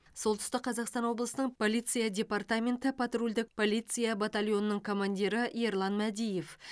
солтүстік қазақстан облысының полиция департаменті патрульдік полиция батальонының командирі ерлан мәдиев